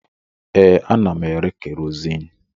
Ee, ana m ere kerozini